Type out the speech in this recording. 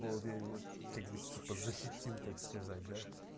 вот я его как бы типа защитил так сказать да